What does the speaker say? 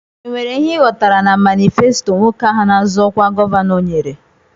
E nwere ihe I ghọtara na manifesto nwoke ahụ na-azọ ọkwa gọvanọ nyere?